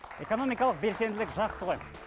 экоономикалық белсенділік жақсы ғой